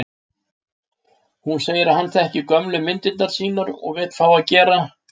Hún segir að hann þekki gömlu myndirnar sínar og vill fá að gera